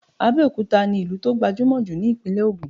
Abẹ́òkúta ni ìlú tó gbajúmọ̀ jù ni ìpínlẹ̀ Ògùn